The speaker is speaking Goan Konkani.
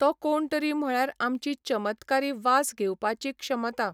तो कोण तरी म्हळ्यार आमची चमत्कारी वास घेवपाची क्षमता